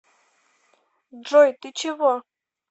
джой ты чего